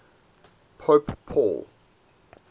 pope paul